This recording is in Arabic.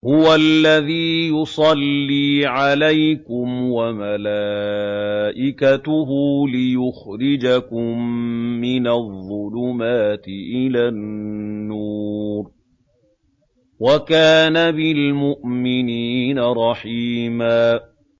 هُوَ الَّذِي يُصَلِّي عَلَيْكُمْ وَمَلَائِكَتُهُ لِيُخْرِجَكُم مِّنَ الظُّلُمَاتِ إِلَى النُّورِ ۚ وَكَانَ بِالْمُؤْمِنِينَ رَحِيمًا